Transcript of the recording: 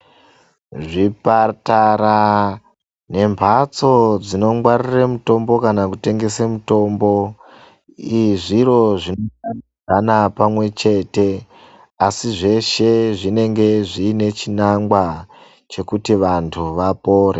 Zvipatara ne mbatso dzino ngwarire mutombo kana kutengese mitombi zviro zvinoita pamwe chete asi zveshe zvinenge zviine chinangwa chekuti vantu vapore.